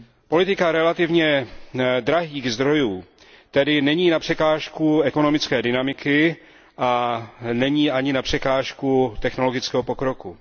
Politika relativně drahých zdrojů tedy není na překážku ekonomické dynamiky a není ani na překážku technologického pokroku.